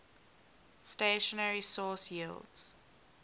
stationary source yields